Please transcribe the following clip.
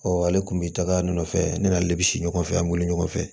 ale tun bɛ taga nɔfɛ ne n'ale bɛ si ɲɔgɔn fɛ an bɛ weele ɲɔgɔn fɛ